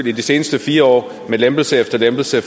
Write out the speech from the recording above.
i de seneste fire år med lempelse efter lempelse af